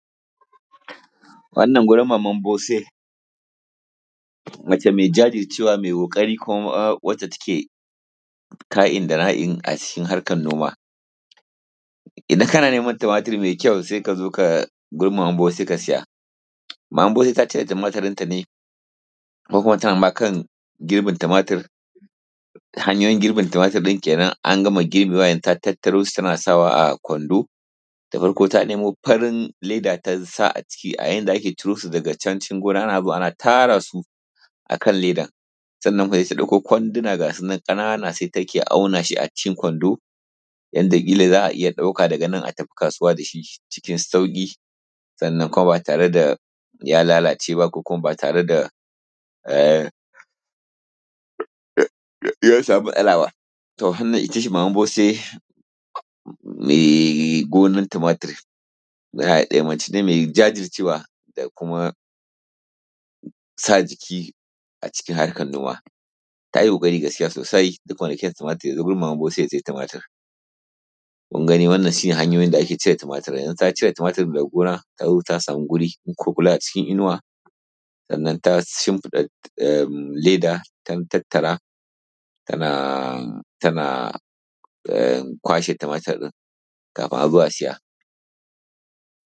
Wannan gurin maman Bose mace mai jajircewa mai kokari kuma wadda take ka`in da na`in a cikin harkan noma idan kana neman tumatir mai kyau sai ka zo ka gurinmaman Bose ka siya, maman Bose ta cira tumatir ɗin ta ne ko kuma tana ma kan girbin tumatir ta hanyoyin girbin ɗin kenan an gama girbewa yanzu ta tattarosu tana sawa a Kwando da farko ta nemo farin leda ta sa a ciki a yanda ake ciro su daga can cikin gona ana zuwa ana tara su a kan leda sannan kuma su ɗauko kwanduna gasu nan ƙanana sa take auna su a cikin Kwando yadda ƙila za a iya ɗauka a tafi kasuwa da shi cikin sauki sannan kuma ba tare da ya lalace ba ko kuma ba tare da ya samu matsala ba, to wannan ita ce maman Bose mai gonan tumatiri, mace ne mai jajircewa da kuma sa jiki a cikin harkan gona ta yi koƙari gaskiya sosai duk ko da kyau tumatir ya zo gurin maman Bose ya sayi tumatir kun gani wannan shi ne hanyoyin da ake cire tumatir, ta cire tumatir daga gona ta zo ta samu wuri ko kula a cikin inuwa sannan ta shimfiɗa leda dan tattara tana tana kwashe tumatirinkafin a zo a siya.